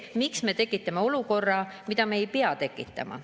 Miks me tekitame olukorra, mida me ei pea tekitama?